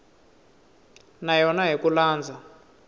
na yona hi ku landza